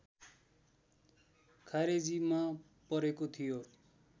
खारेजीमा परेको थियो